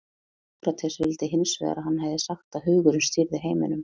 sókrates vildi hins vegar að hann hefði sagt að hugurinn stýrði heiminum